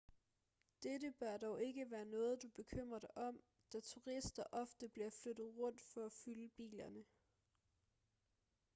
dette bør dog ikke være noget du bekymrer dig om da turister ofte bliver flyttet rundt for at fylde bilerne